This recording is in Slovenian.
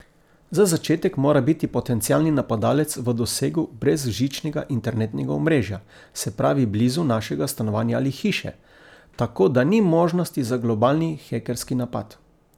Za začetek mora biti potencialni napadalec v dosegu brezžičnega internetnega omrežja, se pravi blizu našega stanovanja ali hiše, tako da ni možnosti za globalni hekerski napad.